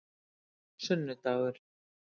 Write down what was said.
sunnudagur